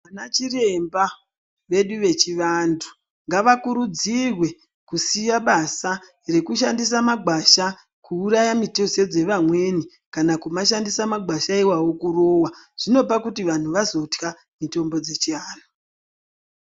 Vana chiremba vedu vechiantu ngavakurudzirwe kusiya basa reshandisa gwasha kuuraya mitezo dzevamweni kana kumashandisa magwasha iwawo kurowa zvinopa kuti vantu vazotka mitombo dzechivantu.